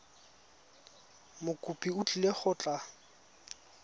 mokopi o tlile go tla